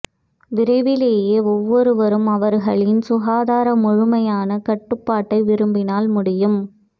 விரைவிலேயே ஒவ்வொருவரும் அவர்களின் சுகாதார முழுமையான கட்டுப்பாட்டை விரும்பினால் முடியும்